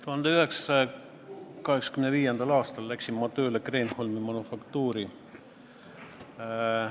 1985. aastal läksin ma tööle Kreenholmi Manufaktuuri.